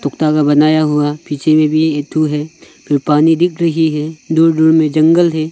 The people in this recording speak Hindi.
धागा बनाया हुआ पीछे में भी एक ठो है फिर पानी दिख रही है दूर दूर में जंगल है।